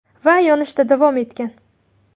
Va yonishda davom etgan.